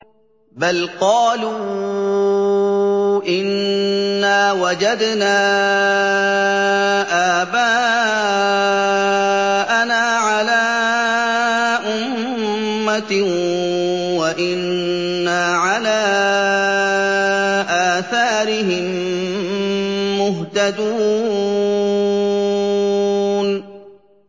بَلْ قَالُوا إِنَّا وَجَدْنَا آبَاءَنَا عَلَىٰ أُمَّةٍ وَإِنَّا عَلَىٰ آثَارِهِم مُّهْتَدُونَ